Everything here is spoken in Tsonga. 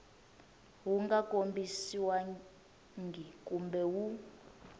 wu nga kombisiwangi kumbe wu